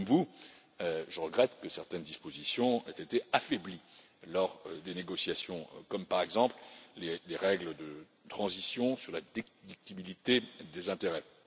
Comme vous, je regrette que certaines dispositions aient été affaiblies lors des négociations, comme, par exemple, les règles de transition sur la déductibilité des intérêts.